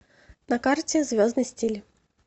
на карте звездный стиль